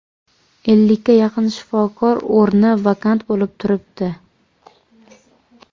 Ellikka yaqin shifokor o‘rni vakant bo‘lib turibdi.